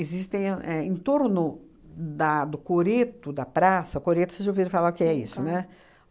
Existem a é em torno da do coreto, da praça... coreto vocês já ouviram falar que é isso, né?